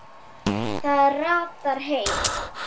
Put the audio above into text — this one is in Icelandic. Það ratar heim.